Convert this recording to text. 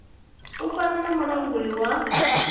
u fana na mulanguli wa